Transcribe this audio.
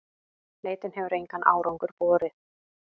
Leitin hefur engan árangur borið.